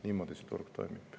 Niimoodi see turg toimib.